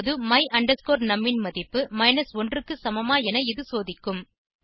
இப்போது my num ன் மதிப்பு 1 க்கு சமமா என இது சோதிக்கும்